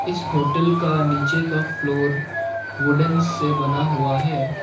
इस होटल का नीचे का फ्लोर वुडन से बना हुआ है।